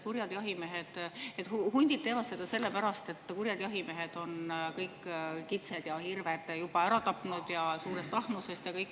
et hundid teevad seda sellepärast, et kurjad jahimehed on suurest ahnusest kõik kitsed-hirved juba ära tapnud.